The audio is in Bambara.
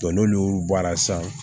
n'olu bɔra sisan